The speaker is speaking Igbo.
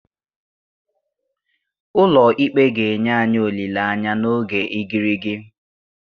Ụlọ ikpe ga-enye anyị olileanya n'oge igirigi